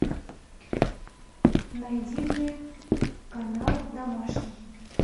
найди мне канал домашний